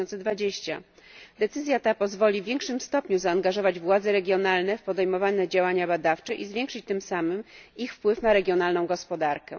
2020. Decyzja ta pozwoli w większym stopniu zaangażować władze regionalne w podejmowane działania badawcze i zwiększyć tym samym ich wpływ na regionalną gospodarkę.